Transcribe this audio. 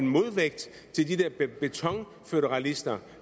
modvægt til de der betonføderalister